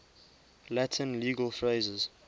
latin legal phrases